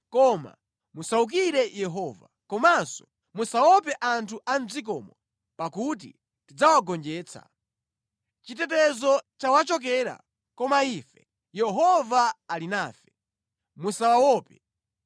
koma musawukire Yehova. Komanso musaope anthu a mʼdzikomo, pakuti tidzawagonjetsa. Chitetezo chawachokera, koma ife Yehova ali nafe. Musawaope.”